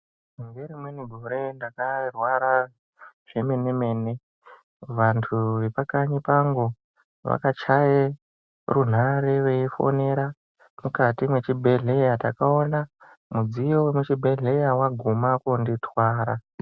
Ngerimweni gore ndakarwara zvemene mene vanhu vepanharaunda pangu vakachaye runhare veifonera mukati mwechibhedhlera. Ndakaona mudziyo wekuchibhedhlera waguma koonditwara.